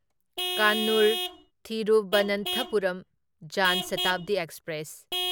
Kannur Thiruvananthapuram Jan Shatabdi express